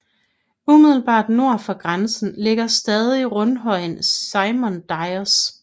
Umiddelbart nord for grænsen ligger stadig rundhøjen Simon Dyes